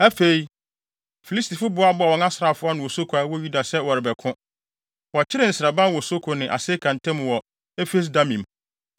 Afei, Filistifo boaboaa wɔn asraafo ano wɔ Soko a ɛwɔ Yuda sɛ wɔrebɛko. Wɔkyeree nsraban wɔ Soko ne Aseka ntam wɔ Efes-Damim.